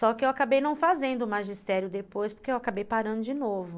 Só que eu acabei não fazendo o magistério depois, porque eu acabei parando de novo.